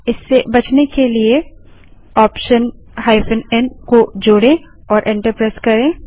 इससे बचने के लिए ऑप्शन n को जोड़े और एंटर प्रेस करें